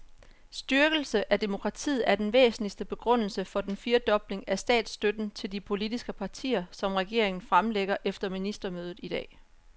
Styrkelse af demokratiet er den væsentligste begrundelse for den firedobling af statsstøtten til de politiske partier, som regeringen fremlægger efter ministermødet i dag.